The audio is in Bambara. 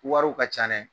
Wariw ka ca nɛ